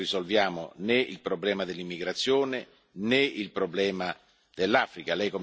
Così non risolviamo né il problema dell'immigrazione, né il problema dell'Africa.